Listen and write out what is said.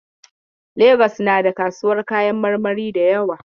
Lagos has so many fruits market.